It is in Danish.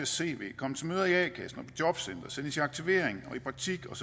cv komme til møder i a kassen og jobcenteret sendes i aktivering og i praktik og